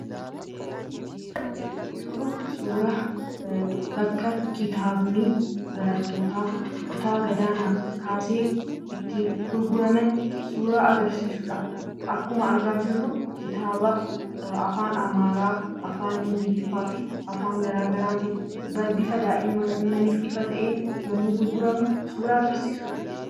Kun kan agarsiisu bakka kitaabni barattoota kutaa gadaanaa kaasee itti gurguraman suuraa agarsiisudha. Akkuma argaa jirru kitaaba afaan amaaraa, afaan ingiliffaa fi afaan garaagaraa bifa daa'immaniif ta'een yemmuu gurguramu suuraa agarsiisudha.